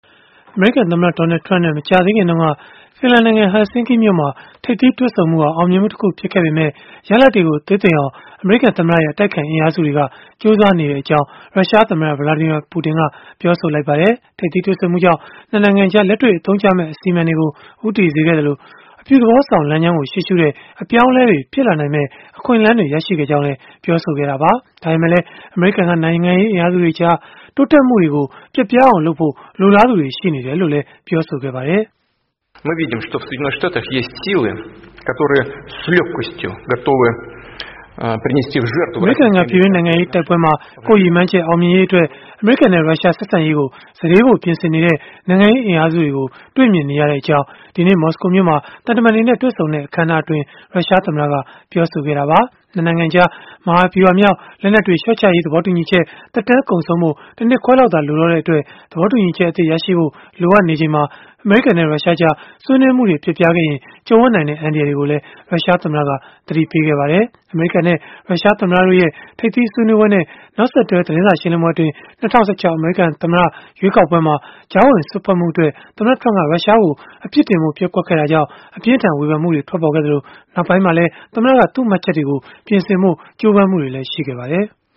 အမေရိကန်သမ္မတ Donald Trump နဲ့ မကြာသေးခင်တုန်းက ဖင်လန်နိုင်ငံ Helsinki မြို့မှာ ထိပ်သီးတွေ့ဆုံမှုဟာ အောင်မြင်မှုတခု ဖြစ်ခဲ့ပေမဲ့၊ ရလဒ်တွေကို သေးသိမ်အောင် အမေရိကန်သမ္မတရဲ့ အတိုက်အခံ အင်အားစုတွေက ကြိုးစားနေကြောင်း ရုရှားသမ္မတ Vladimir Putin ကပြောဆိုလိုက်ပါတယ်။ ထိပ်သီးတွေ့ဆုံမှုကြောင့် ၂ နိုင်ငံကြား လက်တွေ့အသုံးကျမယ့် အစီအမံတွေကို ဦးတည်စေခဲ့သလို၊ အပြုသဘောဆောင် လမ်းကြောင်းကို ရှေ့ရှုတဲ့ အပြောင်းအလဲတွေ ဖြစ်လာနိုင်မယ့် အခွင့်အလန်းတွေ ရရှိခဲ့ကြောင်းလည်း ပြောဆိုခဲ့တာပါ။ ဒါပေမဲ့လည်း အမေရိကန်က နိုင်ငံရေး အင်အားစုတွေကြား တိုးတက်မှုတွေကို ပျက်ပြားအောင်လုပ်ဖို့ လိုလားသူတွေ ရှိနေတယ်လို့လည်း ပြောခဲ့ပါတယ်။ "အမေရိကန်က ပြည်တွင်း နိုင်ငံရေးတိုက်ပွဲမှာ ကိုယ့်ရည်မှန်းချက် အောင်မြင်ဖို့အတွက် အမေရိကန်နဲ့ ရုရှား ဆက်ဆံရေးကို စတေးဖို့ ပြင်ဆင်နေကြတဲ့ နိုင်ငံရေးအင်အားစုတွေကို တွေ့မြင်နေရကြောင်း" ဒီကနေ့ မော်စကိုမြို့မှာ သံတမန်တွေနဲ့ တွေ့ဆုံတဲ့ အခန်းအနားမှာ ရုရှားသမ္မတက ပြောဆိုခဲ့တာပါ။ ၂ နိုင်ငံကြား မဟာဗျုဟာမြောက် လက်နက်တွေ လျှော့ချရေး သဘောတူညီချက် သက်တမ်းကုန်ဆုံးဖို့ တနှစ်ခွဲသာ လိုတော့တဲ့အတွက် သဘောတူညီချက်အသစ် ရရှိဖို့ လိုအပ်နေချိန်မှာ၊ အမေရိကန်နဲ့ ရုရှားကြား ဆွေးနွေးမှုတွေ ပျက်ပြားခဲ့ရင် ကြုံရနိုင်တဲ့ အန္တရာယ်တွေကိုလည်း ရုရှားသမ္မတက သတိပေးခဲ့ပါတယ်။ အမေရိကန်နဲ့ ရုရှားသမ္မတတို့ရဲ့ ထိပ်သီးဆွေးနွေးပွဲနဲ့ နောက်ဆက်တွဲ သတင်းစာရှင်းလင်းပွဲအတွင်း ၂၀၁၆ အမေရိကန်သမ္မတ ရွေးကောက်ပွဲမှာ ကြားဝင်စွက်ဖက်မှုအတွက် သမ္မတ Trump က ရုရှားကို အပြစ်တင်ဖို့ ပျက်ကွက်ခဲ့တဲ့အတွက် ဝေဖန်မှုတွေ အပြင်းအထန် ထွက်ပေါ်ခဲ့သလို၊ နောက်ပိုင်းမှာလည်း သမ္မတက သူ့မှတ်ချက်တွေကို ပြင်ဆင်ဖို့ ကြိုးပမ်းမှုတွေ ရှိခဲ့ပါတယ်။